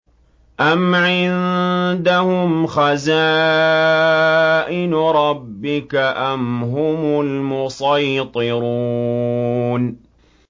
أَمْ عِندَهُمْ خَزَائِنُ رَبِّكَ أَمْ هُمُ الْمُصَيْطِرُونَ